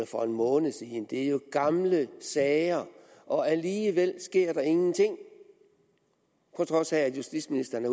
for en måned siden det er jo gamle sager og alligevel sker der ingenting på trods af at justitsministeren